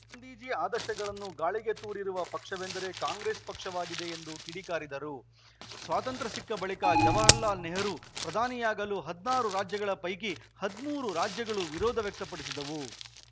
ಗಾಂಧೀಜಿ ಆದರ್ಶಗಳನ್ನು ಗಾಳಿಗೆ ತೂರಿರುವ ಪಕ್ಷವೆಂದರೆ ಕಾಂಗ್ರೆಸ್‌ ಪಕ್ಷವಾಗಿದೆ ಎಂದು ಕಿಡಿಕಾರಿದರು ಸ್ವಾತಂತ್ರ್ಯ ಸಿಕ್ಕ ಬಳಿಕ ಜವಹಾರ್‌ಲಾಲ್‌ ನೆಹರು ಪ್ರಧಾನಿಯಾಗಲು ಹದಿನಾರು ರಾಜ್ಯಗಳ ಪೈಕಿ ಹದಿಮೂರು ರಾಜ್ಯಗಳು ವಿರೋಧ ವ್ಯಕ್ತಪಡಿಸಿದವು